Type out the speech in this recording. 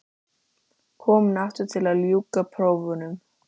Komin aftur til að ljúka prófunum.